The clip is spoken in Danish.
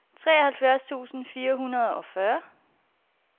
treoghalvfjerds tusind fire hundrede og fyrre